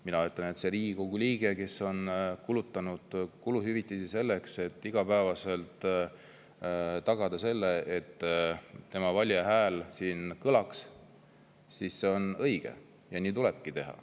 Mina ütlen, et kui Riigikogu liige on kuluhüvitisi selleks, et igapäevaselt tagada, et tema valija hääl siin kõlaks, siis see on õige ja nii tulebki teha.